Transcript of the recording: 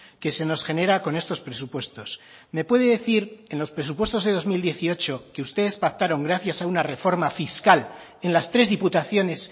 que se nos genera con estos presupuestos me puede decir en los presupuestos de dos mil dieciocho que ustedes pactaron gracias a una reforma fiscal en las tres diputaciones